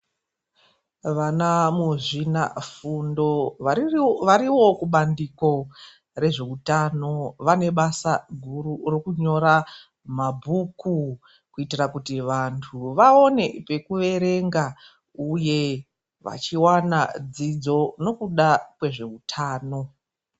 Vana muzvina fundo varivo kubandiko rezveutano vane basa guru rekunyora mabhuku kuitira kuti vantu vaone pekuverenga, uye vachiwana dzidzo nekuda kwezveutano.